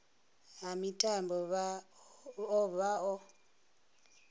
ha mitambo vha o vha